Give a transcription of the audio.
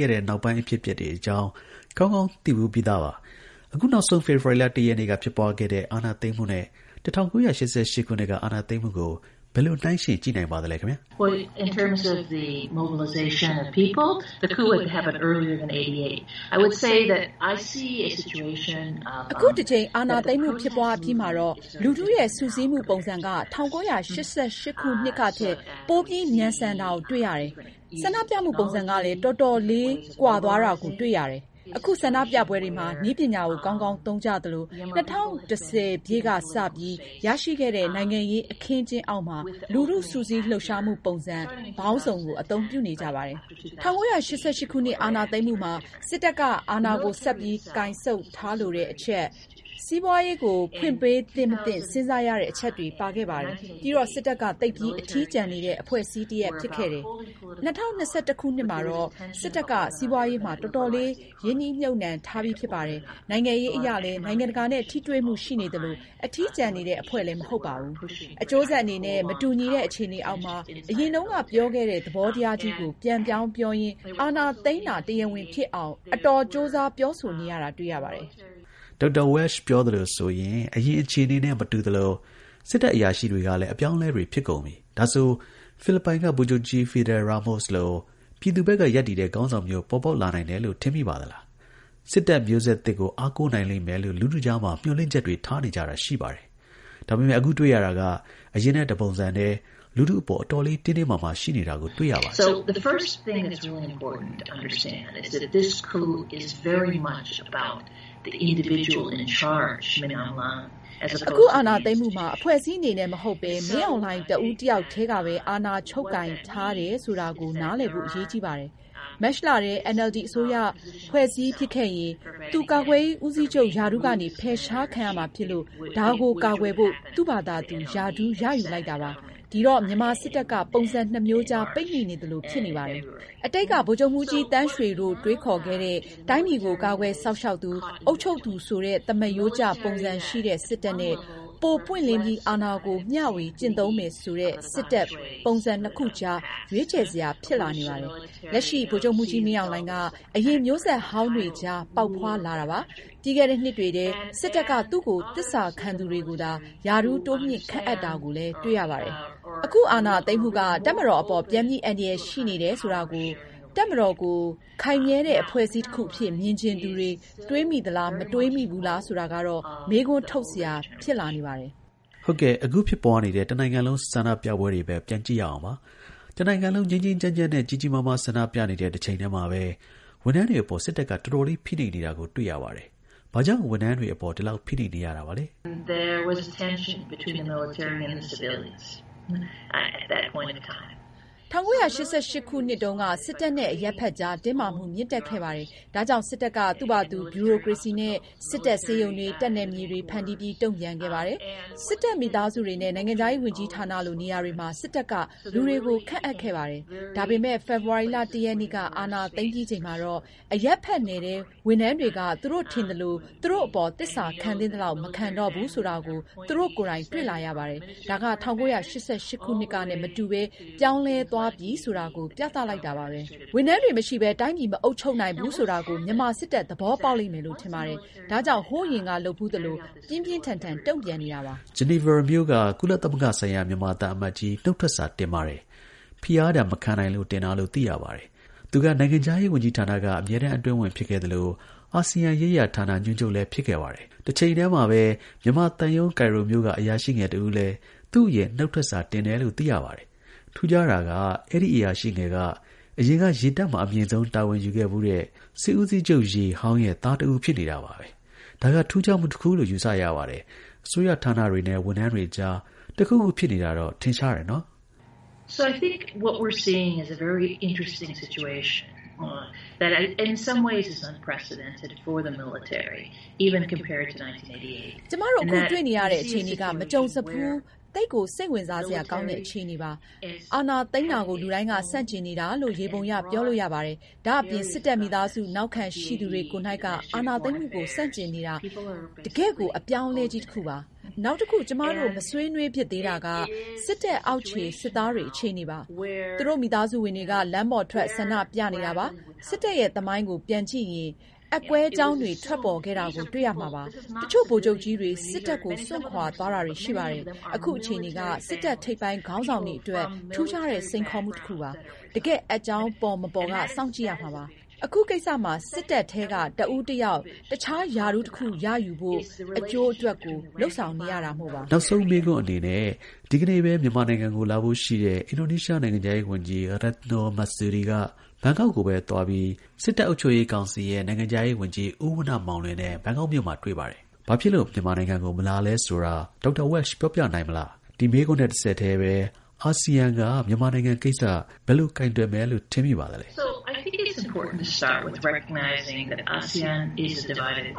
ခဲ့တာနဲ့ နောက်ပိုင်း အဖြစ်အပျက်တွေ အကြောင်း ကောင်းကောင်း သိဖူးပြီးသားပါ။ အခုနောက်ဆုံး ဖေဖော်ဝါရီ ၁ ရက်က ဖြစ်ပွားခဲ့တဲ့ အာဏာသိမ်းမှုနဲ့ ၁၉၈၈ ခုနှစ်က အာဏာသိမ်းမှုကို ဘယ်လို နှိုင်းယှဉ် ကြည့်နိုင်ပါသလဲ။ အခုတစ်ကြိမ် အာဏာသိမ်းမှု ဖြစ်ပွားအပြီးမှာတော့ လူထု ရဲ့ စုစည်းမှု ပုံစံက ၁၉၈၈ ခုနှစ်ကထက် ပိုပြီးမြန်ဆန်တာကို တွေ့ရတယ်။ ဆန္ဒပြမှုပုံစံကလည်း တော်တော်လေး ကွာသွားတာကို တွေ့ရတယ်။ အခု ဆန္ဒပြပွဲတွေမှာ နည်းပညာကို ကောင်းကောင်းသုံးကြသလို ၂၀၁၀ ခုနှစ်ကစပြီး ရရှိ ခဲ့တဲ့ နိုင်ငံရေး အခင်းအကျင်းအောက်မှာ လူထု စုစည်းလှုပ်ရှားမှု ပုံစံ ပေါင်းစုံကို အသုံးပြုနေကြပါတယ်။ ၁၉၈၈ ခုနှစ် အာဏာသိမ်းမှုမှာ စစ်တပ်က အာဏာကို ဆက်ပြီး ကိုင်ဆုပ်ထားလိုတဲ့အချက်၊ စီးပွားရေးကို ဖွင့်ပေးသင့် မသင့် စဉ်းစားရတဲ့ အချက်တွေ ပါခဲ့ပါတယ်။ ပြီးတော့ စစ်တပ်က သိပ်ပြီး အထီးကျန်နေတဲ့ အဖွဲ့အစည်းတစ်ရပ် ဖြစ်ခဲ့တယ်။ ၂၀၂၁ ခုနှစ်မှာတော့ စစ်တပ်က စီးပွားရေးမှာ တော်တော်လေး ရင်းနှီးမြုပ်နှံထားပြီး ဖြစ်ပါတယ်။ နိုင်ငံရေးအရလည်း နိုင်ငံတကာနဲ့ ထိတွေ့မှု ရှိနေသလို အထီးကျန်နေတဲ့ အဖွဲ့လည်း မဟုတ်တော့ဘူး။ အကျိုးဆက် အနေနဲ့ မတူညီတဲ့ အခြေအနေအောက်မှာ အရင်တုန်းက ပြောခဲ့တဲ့ သဘောတရားကြီးကို ပြန်ပြောင်းပြောရင်း အာဏာသိမ်းတာ တရားဝင် ဖြစ်အောင် အတော် ကြိုးစား ပြောဆိုနေရတယ်။ Dr. Welsh ပြောသလိုဆိုရင် အရင် အခြေအနေနဲ့ မတူသလို စစ်တပ် အရာရှိတွေကလည်း အပြောင်းအလဲတွေ ဖြစ်ကုန်ပြီ။ ဒါဆို ဖိလစ်ပိုင် က ဗိုလ်ချုပ်ကြီး Fidel Ramos လို ပြည်သူဘက်က ရပ်တည်တဲ့ ခေါင်းဆောင်မျိုး ပေါ်ပေါက်လာနိုင်တယ်လို့ ထင်မိသလား။ စစ်တပ် မျိုးဆက်သစ်ကို အားကိုးနိုင်လိမ့်မယ်လို့ လူထု ကြားမှာ မျှော်လင့်ချက်တွေ ထားနေကြတာ ရှိပါတယ်။ ဒါပေမယ့် အခုတွေ့ရတာက အရင်နဲ့ တစ်ပုံစံတည်း လူထုအပေါ် အတော်လေး တင်းတင်းမာမာ ရှိနေတာကို တွေ့ရပါတယ်။ အခု အာဏာသိမ်းမှုမှာ အဖွဲ့အစည်းအနေနဲ့ မဟုတ်ဘဲ မင်းအောင်လှိုင် တစ်ဦးတစ်ယောက်တည်းကပဲ အာဏာချုပ်ကိုင်ထားတယ် ဆိုတာကို နားလည်ဖို့ အရေးကြီးပါတယ်။ မတ်လထဲ NLD အစိုးရ ဖွဲ့စည်းဖြစ်ခဲ့ရင် သူ ကာကွယ်ရေး ဦးစီးချုပ် ရာထူးကနေ ဖယ်ရှားခံရမှာဖြစ်လို့ ဒါကို ကာကွယ်ဖို့ သူ့ ဘာသာ ရာထူး ရယူလိုက်တာပါ။ ဒီတော့ မြန်မာစစ်တပ်က ပုံစံ နှစ်မျိုးကြား ပိတ်မိနေသလို ဖြစ်နေတယ်။ အတိတ်က ဗိုလ်ချုပ်မှူကြီး သန်းရွှေတို့ တွေးခေါ်ခဲ့တဲ့ တိုင်းပြည်ကို ကာကွယ် စောင့်ရှောက်သူ၊ အုပ်ချုပ်သူဆိုတဲ့ သမားရိုးကျပုံစံ ရှိတဲ့ စစ်တပ်နဲ့ ပို ပွင့်လင်းပြီး အာဏာကို မျှဝေ ကျင့်သုံးမယ့်ဆိုတဲ့ စစ်တပ် ပုံစံနှစ်ခုအကြား ရွေးချယ် စရာ ဖြစ်လာနေပါတယ်။ လက်ရှိ ဗိုလ်ချုပ်မှူးကြီး မင်းအောင်လှိုင်က အရင်မျိုးဆက်ဟောင်းတွေ အကြား ပေါက်ဖွားလာတာပါ။ ပြီးခဲ့တဲ့ နှစ်တွေထဲ စစ်တပ်ထဲ သူ့ကိုသစ္စာ ခံ သူ တွေကိုသာ ရာထူး တိုးမြှင့်ခန့်အပ်တာကို တွေ့ရတယ်။ အခု အာဏာသိမ်းမှုက တပ်မတော်အပေါ် ပြန်ပြီးအန္တရာယ် ရှိနေတယ်ဆိုတာကို တပ်မတော်ကို ခိုင်မြဲတဲ့ အဖွဲ့အစည်း တစ်ခုအဖြစ် မြင်ချင်သူတွေ တွေးမိသလား မတွေးမိဘူးလားဆိုတာကတော့ မေးခွန်းထုတ်စရာ ဖြစ်လာနေပါတယ်။ ဟုတ်ကဲ့။ အခု ဖြစ်ပွားနေတဲ့ တစ်နိုင်ငံလုံး ဆန္ဒပြပွဲတွေ ဘက် ပြန်ကြည့်ရအောင်ပါ။။ တစ်နိုင်ငံလုံး ငြိမ်းငြိမ်းချမ်းချမ်းနဲ့ ကြီးကြီးမားမား ဆန္ဒ ပြနေတဲ့ တစ်ချိန်တည်းမှာပဲ ဝန်ထမ်းတွေအပေါ် စစ်တပ်က တော်တော်လေး ဖိနှိပ်နေတာကို တွေ့ရပါတယ်။ ဘာကြောင့် ဝန်ထမ်းတွေ အပေါ် ဒီလောက် ဖိနှိပ်နေရတာလဲ။ ၁၉၈၈ ခုနှစ်တုန်းက စစ်တပ်နဲ့ အရပ်ဖက်အကြား တင်းမာမှု မြင့်တက်ခဲ့တယ်။ ဒါကြောင့် စစ်တပ်က သူ့ဘာသာ ဗျူရိုကရေစီနဲ့ စစ်တပ် ဆေးရုံးတွေ၊ တပ်နယ်မြေတွေ ဖန်တီးပြီး တုံ့ပြန်ခဲ့တယ်။ စစ်တပ် မိသားစုတွေနဲ့ နိုင်ငံခြားရေး ဝန်ကြီးဌာနလို နေရာတွေမှာ စစ်တပ်ကလူတွေကို ခန့်အပ်ခဲ့တယ်။ ဒါပေမဲ့ ဖေဖော်ဝါရီ ၁ရက်နေ့ အာဏာသိမ်းပြီးချိန်မှာတော့ အရပ်ဘက်နယ်ထဲက ဝန်ထမ်းတွေက သူတို့ ထင်သလို သူတို့အပေါ် သစ္စာခံသင့်သလောက် မခံတော့ဘူးဆိုတာကို သူတို့ ကိုယ်တိုင် တွေ့လာရတယ်။ ဒါက ၁၉၈၈ ခုနှစ်ကနဲ့ မတူဘဲ ပြောင်းလဲသွားပြီဆိုတာကို ပြသလိုက်တာပါဘဲ။ ဝန်ထမ်းတွေ မရှိဘဲ တိုင်းပြည် မအုပ်ချုပ်နိုင်ဘူးဆိုတာကို မြန်မာ စစ်တပ် သဘောပေါက်လိမ့်မယ်လို့ ထင်ပါတယ်။ ဒါကြောင့် ဟိုး အရင်ကလုပ်ဖူးသလို ပြင်းပြင်း ထန်ထန်တုန့်ပြန်နေတာပါ။ ဂျနီဗာမြို့က ကုလသမဂ္ဂဆိုင်ရာ မြန်မာ သံအမတ်ကြီး နုတ်ထွက်စာ တင်ပါတယ်။ ဖိအားဒဏ် မခံနိုင်လို့ တင်တာလို့ သိရပါတယ်။အဆင်မြင့် သံတမန် တစ်ဦး ပထမဆုံး နုတ်ထွက်စာတင်တာပါ။ သူက နိုင်ငံခြားရေး ဝန်ကြီးဌာနက အမြဲတမ်းအတွင်းဝန် ဖြစ်ခဲ့သလို အာဆီယံရေးရာ ဌာန ညွှန်ချုပ် လည်း ဖြစ်ခဲ့ပါတယ်။ တစ်ချိန်တည်းမှာပဲ မြန်မာသံရုံး ကိုင်ရိုမြို့က အရာရှိငယ်တစ်ဦးလည်း သူ့အရင် နုတ်ထွက်စာတင်တယ်လို့ သိရပါတယ်။ ထူးခြားတာ က အဲဒီ အရာရှိငယ်က အရင်က ရေတပ်မှာ အမြင့်ဆုံး တာဝန်ယူခဲ့ဖူးတဲ့ စစ်ဦးစီးချုပ် ဟောင်းရဲ့ သားတစ်ဦးဖြစ်နေတာပါပဲ။ ဒါက ထူးခြားမှု တစ်ခု လို့ ယူဆရပါတယ်။ အစိုးရဌာနတွေနဲ့ ဝန်ထမ်းတွေကြားမှာ အတွင်းမှာ တစ်ခုခု ဖြစ်နေတာတော့ ထင်ရှားတယ်နော်။ ကျွန်မတို့ အခုတွေ့နေရတဲ့ အခြေအနေက မကြုံစဖူးနဲ့ သိပ်ကို စိတ်ဝင်စားစရာ ကောင်းတဲ့ အခြေအနေပါ။ အာဏာသိမ်းတာကို လူတိုင်းက ဆန့်ကျင်နေတာလို့ ယေဘုယျ ပြောလို့ရပါတယ်။ ဒါ့အပြင်၊ စစ်တပ်မိသားစု နောက်ခံ ရှိသူတွေကိုယ်တိုင်က အာဏာသိမ်းမှုကို ဆန့်ကျင်နေတာကတကယ့်ကို အပြောင်း အလဲကြီး တစ်ခုပါ။ နောက်တစ်ခု ကျွန်မတို့ မဆွေးနွေးဖြစ်သေးတာက စစ်တပ် အောက်ခြေ စစ်သားတွေ အခြေအနေပါ။ သူတို့ မိသားစုဝင်တွေက လမ်းပေါ်ထွက် ဆန္ဒ ပြနေတာပါ။ စစ်တပ်ရဲ့သမိုင်းကို ပြန်ကြည့်ရင် အက်ကွဲကြောင်းတွေ ထွက်ပေါ်ခဲ့တာကို တွေ့ရမှာပါ။ တချို့ ဗိုလ်ချုပ်ကြီးတွေ စစ်တပ်ကို စွန့်ခွာ သွား တာတွေ ရှိပါတယ်။ အခုအခြေအနေက စစ်တပ်ထိပ်ပိုင်းခေါင်းဆောင်တွေအတွက် ထူးခြားတဲ့ စိန်ခေါ်မှုတစ်ခုပါ။ တကယ်အက်ကြောင်း ပေါ်မပေါ်က စောင့်ကြည့်ရမှာပါ။ အခုကိစ္စမှာ စစ်တပ်ထဲက တစ်ဦးတစ်ယောက် တစ်ခြား ရာထူးတစ်ခု ရယူနိုင်ဖို့ အကျိုးအတွက် လုပ်ဆောင်နေရတာမို့ပါ။ နောက်ဆုံး မေးခွန်းအနေနဲ့ ဒီကနေ့ပဲ မြန်မာနိုင်ငံကို လာဖို့ ရှိတဲ့ အင်ဒိုနီးရှားနိုင်ငံခြားရေးဝန်ကြီး Retno Mersudi က ဘန်ကောက်ကိုပဲ သွားပြီး မြန်မာနိုင်ငံခြားရေး ဝန်ကြီး ဦးဝဏ္ဏမောင်လွင်နဲ့တွေ့တယ်။ ဘာဖြစ်လို့ မြန်မာနိုင်ငံကို မလာလဲဆိုတာ Dr. Welsh ပြောပြနိုင်မလားပဲ။ ဒီ မေးခွန်းနဲ့ တစ်ဆက်တည်း အာဆီယံက မြန်မာနိုင်ငံကိစ္စ ဘယ်လို ကိုင်တွယ်မယ်လို့ ထင်မိပါသလဲ။